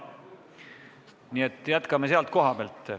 Nii et jätkame selle koha pealt.